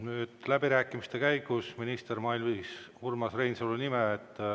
Nüüd läbirääkimiste käigus minister mainis Urmas Reinsalu nime.